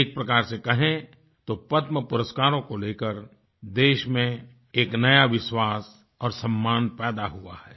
एक प्रकार से कहें तो पद्मपुरस्कारों को लेकर देश में एक नया विश्वास और सम्मान पैदा हुआ है